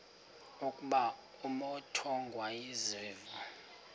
ukuba umut ongawazivo